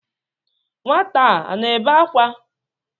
Nwata a na-ebe akwa?